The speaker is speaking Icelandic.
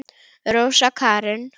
Rósa Karin.